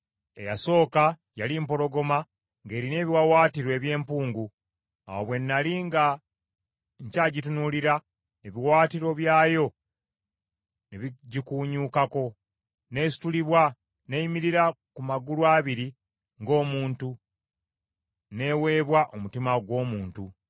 “Eyasooka yali mpologoma ng’erina ebiwaawaatiro eby’empungu. Awo bwe nnali nga nkyagitunuulira, ebiwaawaatiro byayo ne bigikuunyuukako, n’esitulibwa, n’eyimirira ku magulu abiri ng’omuntu, n’eweebwa omutima ogw’omuntu.